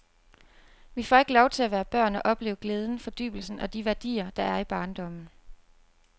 Vi får ikke lov til at være børn og opleve glæden, fordybelsen og de værdier der er i barndommen.